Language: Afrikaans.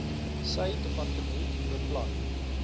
sy departement beplan